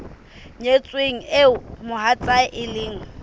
nyetsweng eo mohatsae e leng